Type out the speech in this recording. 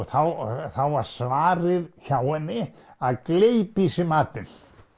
þá var svarið hjá henni að gleypa í sig matinn